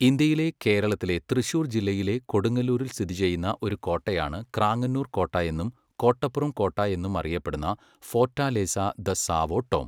ഇന്ത്യയിലെ കേരളത്തിലെ തൃശ്ശൂർ ജില്ലയിലെ കൊടുങ്ങല്ലൂരിൽ സ്ഥിതിചെയ്യുന്ന ഒരു കോട്ടയാണ് ക്രാങ്ങനൂർ കോട്ട എന്നും കോട്ടപുറം കോട്ട എന്നും അറിയപ്പെടുന്ന ഫോർട്ടാലേസാ ദ സാവോ ടോം.